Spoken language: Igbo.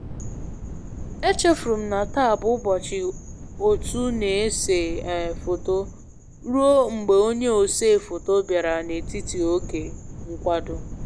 E chefurum na taa bụ ụbọchị otu na ese um foto ruo mgbe onye osee foto bịara n'etiti oge nkwado